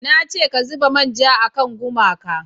na ce ka zuba manja a kan gumaka!